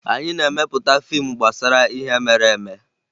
Anyị na-emepụta fiimu gbasara ihe mere eme